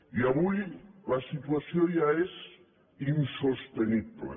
i avui la situació ja és insostenible